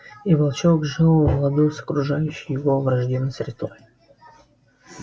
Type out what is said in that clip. и волчонок жил в ладу с окружающей его враждебной средой